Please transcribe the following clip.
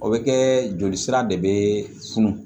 O bɛ kɛ joli sira de bɛ funu